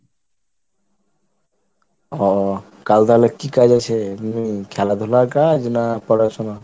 ও কাল তাহলে কি কাজ আছে? খেলাধুলার কাজ না পড়াশোনা?